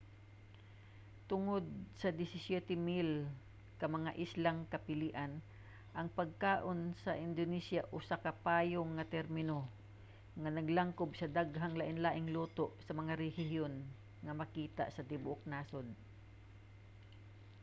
tungod sa 17,000 ka mga islang kapilian ang pagkaon sa indonesia usa ka payong nga termino nga naglangkob sa dahgang lainlaing luto sa mga rehiyon nga makita sa tibuok nasod